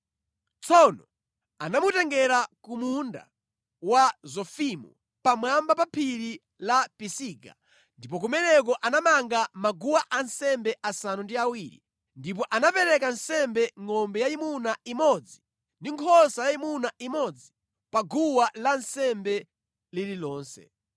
Tsono anamutengera ku munda wa Zofimu pamwamba pa phiri la Pisiga ndipo kumeneko anamanga maguwa ansembe asanu ndi awiri ndipo anapereka nsembe ngʼombe yayimuna imodzi ndi nkhosa yayimuna imodzi pa guwa lansembe lililonse.